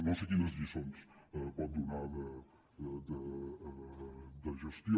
no sé quines lliçons pot donar de gestió